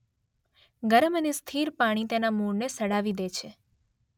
ગરમ અને સ્થિર પાણી તેના મૂળને સડાવી દે છે.